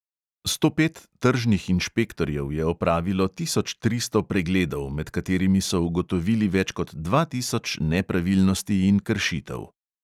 Sto pet tržnih inšpektorjev je opravilo tisoč tristo pregledov, med katerimi so ugotovili več kot dva tisoč nepravilnosti in kršitev.